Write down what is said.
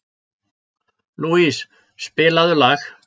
Lousie, spilaðu lag.